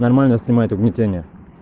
нормально снимать угнетения